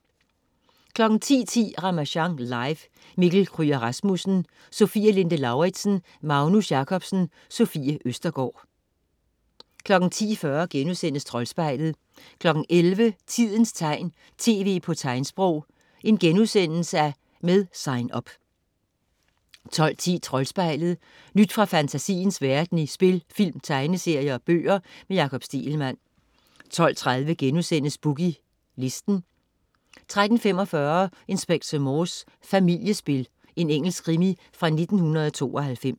10.10 Ramasjang live. Mikkel Kryger Rasmussen, Sofie Linde Lauridsen, Magnus Jacobsen, Sofie Østergaard 10.40 Troldspejlet* 11.00 Tidens tegn, tv på tegnsprog. Med Sign Up* 12.10 Troldspejlet. Nyt fra fantasiens verden i film, spil, tegneserier og bøger. Jakob Stegelmann 12.30 Boogie Listen* 13.45 Inspector Morse: Familiespil. Engelsk krimi fra 1992